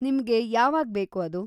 ನಿಮ್ಗೆ ಯಾವಾಗ್ಬೇಕು‌ ಅದು?